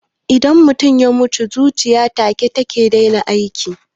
Idan mutum ya mutu, zuciya takan daina aiki